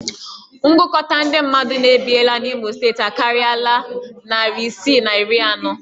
Ngụkọta ndị mmadụ na-ebiela n'Imo steeti akarịala narị isii na iri anọ